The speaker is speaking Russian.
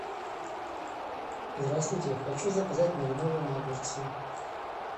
здравствуйте хочу заказать маринованные огурцы